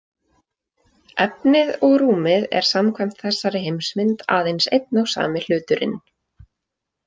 Efnið og rúmið er samkvæmt þessari heimsmynd aðeins einn og sami hluturinn.